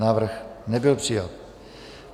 Návrh nebyl přijat.